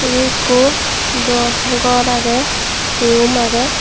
ebe ikko dow gor agey rum agey.